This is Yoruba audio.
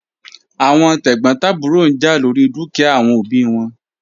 Awọn tegbotaburo n ja lori dukia awọn obi wọn